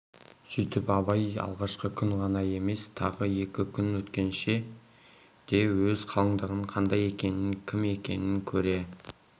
сүйтіп абай алғашқы күн ғана емес тағы екі күн өткенше де өз қалыңдығы қандай екенін кім екенін көре